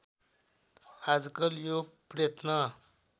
आजकल यो प्रयत्न